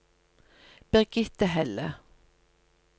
Birgitte Helle